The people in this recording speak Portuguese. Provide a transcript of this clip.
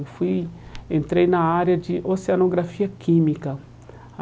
Eu fui entrei na área de Oceanografia Química.